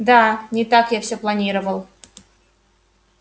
да не так я всё планировал